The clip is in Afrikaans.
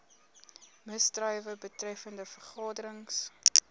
misdrywe betreffende vergaderings